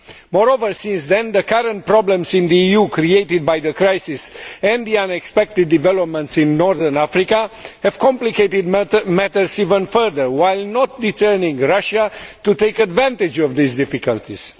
Moreover, since then, the current problems in the EU created by the crisis, and the unexpected developments in North Africa, have complicated matters even further, while not deterring Russia from taking advantage of these difficulties.